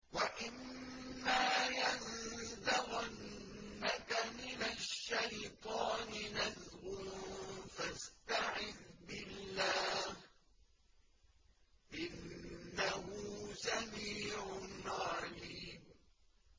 وَإِمَّا يَنزَغَنَّكَ مِنَ الشَّيْطَانِ نَزْغٌ فَاسْتَعِذْ بِاللَّهِ ۚ إِنَّهُ سَمِيعٌ عَلِيمٌ